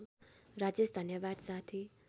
राजेश धन्यवाद साथी